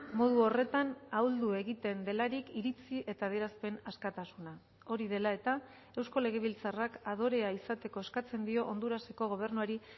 modu horretan ahuldu egiten delarik iritzi eta adierazpen askatasuna hori dela eta eusko legebiltzarrak adorea izateko eskatzen dio honduraseko gobernuari